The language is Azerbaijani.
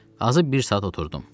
Azı bir saat oturdum.